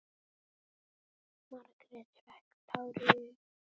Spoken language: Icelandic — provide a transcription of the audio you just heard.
Margrét fékk tár í augun.